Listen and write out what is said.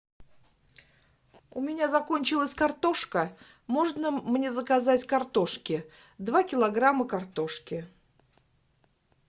у меня закончилась картошка можно мне заказать картошки два килограмма картошки